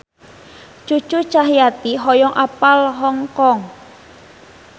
Cucu Cahyati hoyong apal Hong Kong